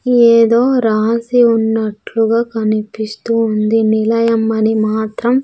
ఏదో రాసి ఉన్నట్లుగా కనిపిస్తూ ఉంది నిలయం అని మాత్రం.